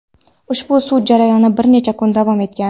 Ushbu sud jarayoni bir necha kun davom etgan.